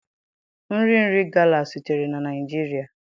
Nri nri gala sitere na Naijiria.